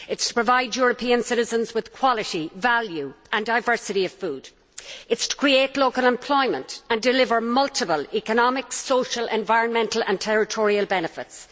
It is to provide European citizens with quality, value and diversity of food, to create local employment and deliver multiple economic, social, environmental and territorial benefits.